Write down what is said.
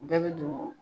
Bɛɛ bɛ don